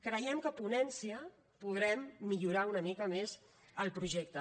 creiem que a ponència podrem millorar una mica més el projecte